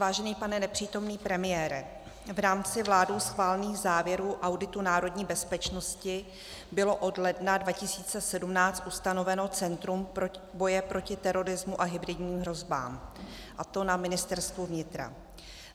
Vážený pane nepřítomný premiére, v rámci vládou schválených závěrů auditu národní bezpečnosti bylo od ledna 2017 ustanoveno Centrum boje proti terorismu a hybridním hrozbám, a to na Ministerstvu vnitra.